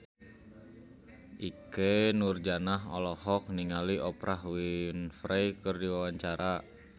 Ikke Nurjanah olohok ningali Oprah Winfrey keur diwawancara